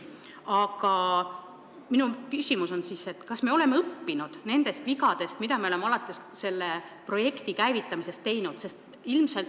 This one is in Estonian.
Aga minu küsimus on siis, kas ma oleme õppinud nendest vigadest, mida me oleme alates selle projekti käivitamisest teinud?